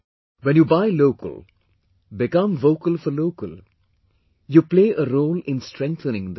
When you buy 'local', become vocal for local you play a role in strengthening the country